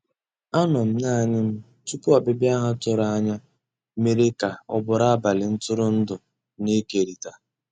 Ànọ́ m naanì m tupu ọ́bị̀bị̀a ha tụ̀rù ànyá mèrè kà ọ́ bụ́rụ́ àbálị́ ntụ̀rụ̀ndụ́ na-èkérị̀ta.